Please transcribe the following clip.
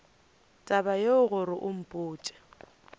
taba yeo gore o mpotše